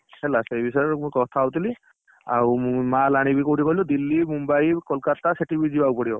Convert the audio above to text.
ହେଲା ସେଇବିଷୟ ରେ ସବୁ କଥା ହଉଥିଲି, ଆଉ ମୁଁ ମାଲ ଆଣିବି କୋଉଠି କହିଲୁ ଦିଲ୍ଲୀ, ମୁମ୍ବାଇ, କୋଲକାତା ସେଠାକୁ ବି ଯିବାକୁ ପଡିବ।